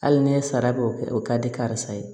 Hali ne ye sara k'o kɛ o ka di karisa ye